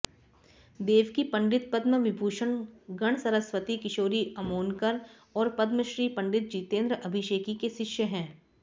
देवकी पंडित पद्म विभूषण गणसरस्वती किशोरी अमोनकर और पद्मश्री पं जितेन्द्र अभिषेकी के शिष्य हैं